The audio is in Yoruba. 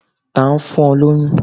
ta n fún o loyún?